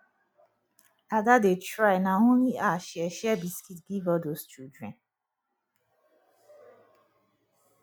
ada dey try na only her share share biscuit give all those children